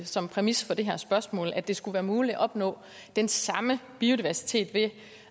som præmis for det her spørgsmål nemlig at det skulle være muligt at opnå den samme biodiversitet ved